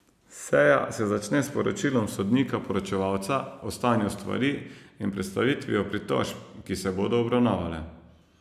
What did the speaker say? Seja se začne s poročilom sodnika poročevalca o stanju stvari in predstavitvijo pritožb, ki se bodo obravnavale.